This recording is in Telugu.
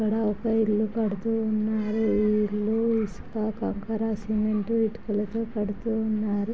అక్కడ ఒక ఇల్లు కడుతూ ఉన్నారు. ఈ ఇల్లు ఇసుక కంకర సిమెంట్ ఇటుకలతో కడుతూ ఉన్నారు.